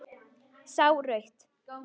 Sá rautt.